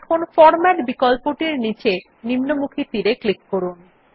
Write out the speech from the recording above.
এখন ফরম্যাট বিকল্পটির নীচে নিম্নমুখী তীর এ ক্লিক করুন